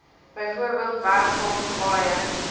bv werfgrond paaie